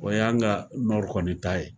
O y'an ka nba kɔni ta ye